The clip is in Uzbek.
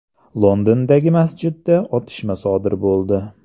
Londondagi masjidda otishma sodir bo‘ldi.